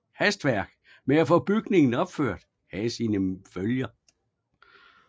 Hastværket med at få bygningen opført havde sine følger